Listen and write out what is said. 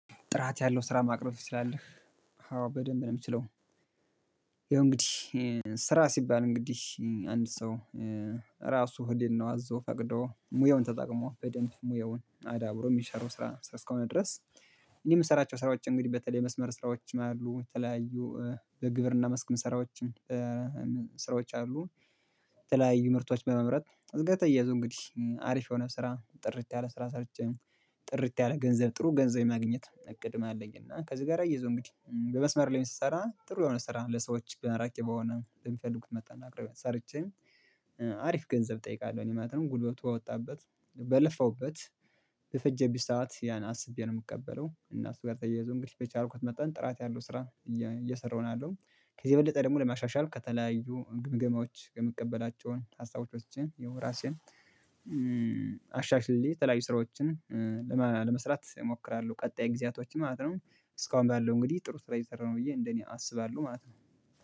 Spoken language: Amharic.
ጥራት ያለው ስራ ማቅረብ ትችላለህ? አዎ በደንብ ነው የምችለው። ይኸው እንግዲህ ስራ ሲባል እንግዲህ አንድ ሰው ራሱ ህሊናው አዞ ፈቅዶ ሙያውን ተጠቅሞ በደንብ ሙያውን አዳብሮ የሚሰራው ስራ ስራ እስከሆነ ድረስ። እኔ የምሰራቸው ስራዎች እንግዲህ በተለይ የመስመር ስራዎች አሉ የተለያዩ በግብርና መስክም ስራዎችም ስራዎች አሉ። የተለያዩ ምርቶች በመምረጥ እዝቀት እየያዙ እንግዲህ አሪፍ የሆነ ስራ ጥርት ያለ ስራ ሰርቼ ጥርት ያለ ገንዘብ ጥሩ ገንዘብ ማግኘት እቅድም አለኝ። እና ከዚህ ጋር እያይዞ እንግዲህ በመስመር ላይ ስሰራ ጥሩ የሆነ ስራ ለሰዎች ማራኪ በሆነ የሚፈልጉት መጠን አቅርቤ ሰርቼ አሪፍ ገንዘብ እጠይቃለሁ እኔ ማለት ነው። ጉልበቱ ከወጣበት በለፋውበት በፈጀብኝ ሰዓት ያን አስቤ ነው የምቀበለው እና እሱ ጋር ተያይዞ እንግዲህ በቻልኩት መጣን ጥራት ያለው ስራ። እየሰራሁ ነው ያልሁት ከዚህ የበለጠ ደግሞ ለማሻሻል ከተለያዩ ግምገማዎች የምቀበላቸውን ሀሳቦችን ይሀይ ራሴን አሻሽዬ የተለያዩ ስራዎችን ለመስራት እሞክራለሁ። ቀጣይ ጊዜያቶች ማለት ነው እስካሁን ባለው እንግዲህ ጥሩ ስራ እየሰራሁ ነው ብዬ እንደኔ አስባለሁ ማለት ነው